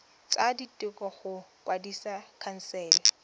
tsa ditiro go kwadisa khansele